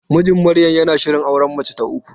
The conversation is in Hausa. Mijin Maryam yana shirin auren mace ta uku.